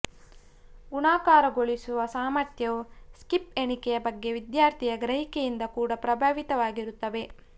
ಗುಣಾಕಾರಗೊಳಿಸುವ ಸಾಮರ್ಥ್ಯವು ಸ್ಕಿಪ್ ಎಣಿಕೆಯ ಬಗ್ಗೆ ವಿದ್ಯಾರ್ಥಿಯ ಗ್ರಹಿಕೆಯಿಂದ ಕೂಡ ಪ್ರಭಾವಿತವಾಗಿರುತ್ತದೆ